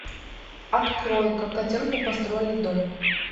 открой как котенку построили дом